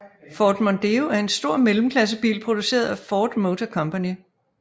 Ford Mondeo er en stor mellemklassebil produceret af Ford Motor Company